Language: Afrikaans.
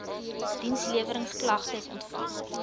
diensleweringsk lagtes ontvang